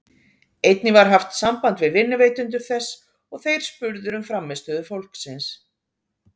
Einnig var haft samband við vinnuveitendur þess og þeir spurðir um frammistöðu fólksins.